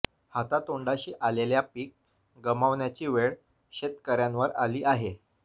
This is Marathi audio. हातातोंडाशी आलेल्या पीक गमवण्याची वेळ शेतकर्यांुवर आली आहे